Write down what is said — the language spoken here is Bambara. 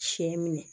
Siɲɛ minɛ